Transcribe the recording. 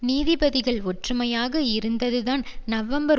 நீதிபதிகள் ஒற்றுமையாக இருந்ததுதான் நவம்பர்